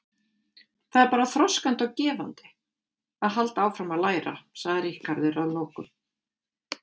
Það er bara þroskandi og gefandi að halda áfram að læra, sagði Ríkharður að lokum.